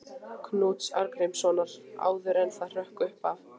Knúts Arngrímssonar, áður en það hrökk upp af.